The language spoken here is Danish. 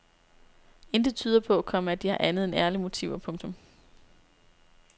Intet tyder på, komma at de har andet end ærlige motiver. punktum